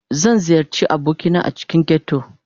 Zan ziyarci abokina a cikin ghetto